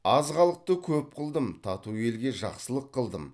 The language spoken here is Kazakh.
аз халықты көп қылдым тату елге жақсылық қылдым